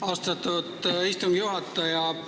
Austatud istungi juhataja!